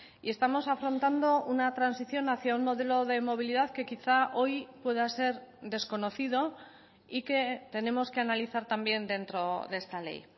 y estamos afrontando una transición hacia un modelo de movilidad que quizá hoy pueda ser desconocido y que tenemos que analizar también dentro de esta ley